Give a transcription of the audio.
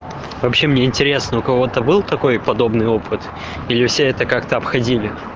вообще мне интересно у кого то был такой подобный опыт или все это как то обходили